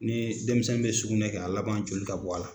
Ni denmisɛnw bɛ sugunɛ kɛ a laban joli ka bɔ a la.,